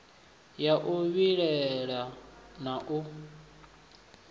ya u vhilaela na u